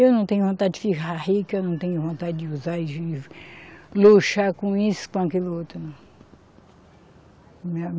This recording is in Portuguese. Eu não tenho vontade de ficar rica, eu não tenho vontade de usar e luxar com isso, com aquilo outro, não.